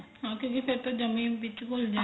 ਹਾਂ ਕਿਉਂ ਕੀ ਫੇਰ ਤਾਂ ਜਮਾ ਈ ਵਿੱਚ ਘੁੱਲ